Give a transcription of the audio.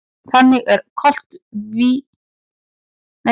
Þannig er koltvíildið á sífelldri hringrás milli lífvera.